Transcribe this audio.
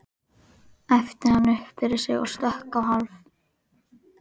æpti hann upp yfir sig og stökk á hálf